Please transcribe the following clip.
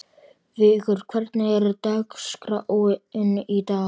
Vigur, hvernig er dagskráin í dag?